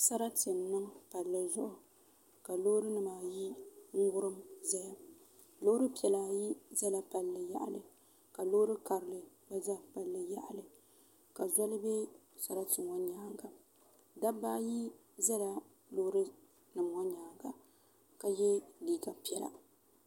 Sarati n niŋ palli zuɣu ka loori nim ayi wurim ʒɛya loori piɛla ayi ʒɛla palli yaɣali ka loori karili gba ʒɛ palli yaɣali ka zoli bɛ sarati ŋɔ nyaanga dabba ayi ʒɛla loori nim ŋɔ nyaanga ka yɛ liiga piɛla